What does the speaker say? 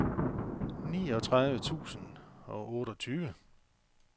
niogtredive tusind og otteogtyve